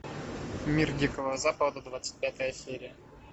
мир дикого запада двадцать пятая серия